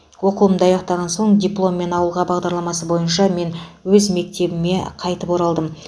оқуымды аяқтаған соң дипломмен ауылға бағдарламасы бойынша мен өз мектебіме қайтып оралдым